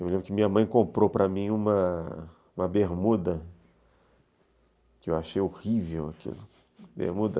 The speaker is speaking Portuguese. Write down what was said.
Eu lembro que minha mãe comprou para mim uma, uma bermuda, que eu achei horrível aquilo.